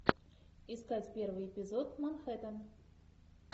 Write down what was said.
искать первый эпизод манхэттен